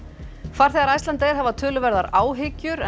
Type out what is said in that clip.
farþegar Icelandair hafa töluverðar áhyggjur